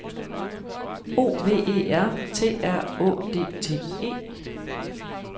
O V E R T R Å D T E